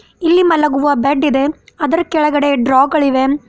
ಇಲ್ಲಿ ಮಲಗುವ ಬೆಡ್ ಇದೆ ಆದರ ಕೆಳಗಡೆ ಡ್ರಾ ಗಳಿವೆ.